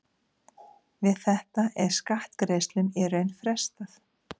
Við þetta er skattgreiðslum í raun frestað.